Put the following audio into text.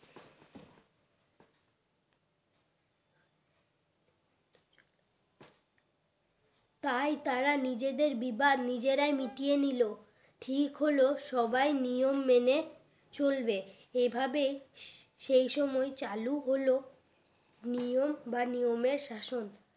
তাই তারা নিজেদের বিবাদ নিজেরাই মিটিয়ে নিলো ঠিক হলো সবাই নিয়ম মেনে চলবে এই ভাবেই সেই সময় চালু হলো নিয়ম বা নিয়মের শাসন